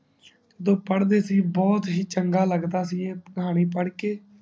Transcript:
ਜਦੋ ਪੜਦੇ ਸੀ ਬਹੁਤ ਹੀ ਚੰਗਾ ਲੱਗਦਾ ਸੀ ਇਹ ਕਹਾਣੀ ਪੜਕੇ